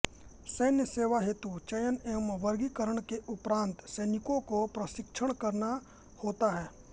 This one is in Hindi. सैन्य सेवा हेतु चयन एवं वर्गीकरण के उपरान्त सैनिकों को प्रशिक्षित करना होता है